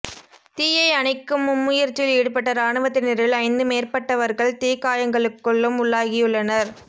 தீயை அணைக்குமும் முயற்சியில் ஈடுப்பட்ட இராணுவத்தினரில் ஜந்து மேற்பட்டவர்கள் தீக் காயங்களுக்குள்ளும் உள்ளாகியுள்ளனர்